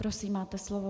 Prosím, máte slovo.